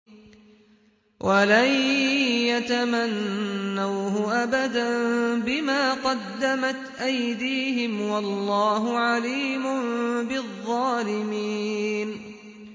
وَلَن يَتَمَنَّوْهُ أَبَدًا بِمَا قَدَّمَتْ أَيْدِيهِمْ ۗ وَاللَّهُ عَلِيمٌ بِالظَّالِمِينَ